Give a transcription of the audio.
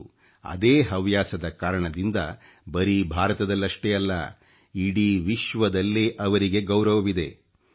ಇಂದು ಅದೇ ಹವ್ಯಾಸದ ಕಾರಣದಿಂದ ಬರೀ ಭಾರತದಲ್ಲಷ್ಟೇ ಅಲ್ಲ ಇಡೀ ವಿಶ್ವದಲ್ಲೇ ಅವರಿಗೆ ಗೌರವವಿದೆ